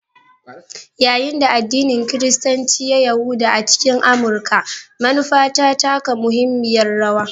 Yayin da addinin Kiristanci ya yaɗu a cikin Amurka, manufa ta taka muhimmiyar rawa.